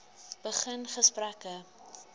begin gesprekke